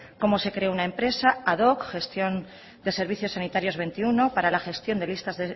como se creó una empresa ad hoc gestión de servicios sanitarios veintiuno para la gestión de listas